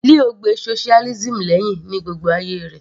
Leo gbe socialism lẹ́hìn ní gbogbo ayé rẹ̀